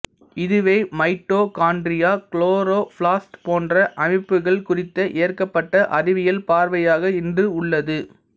இதுவே mitochondria chloroplast போன்ற அமைப்புகள் குறித்த ஏற்கப்பட்ட அறிவியல் பார்வையாக இன்று உள்ளது